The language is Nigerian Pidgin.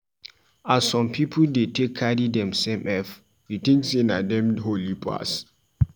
As some pipu de take carry themsef ef, you tink sey na dem holy pass.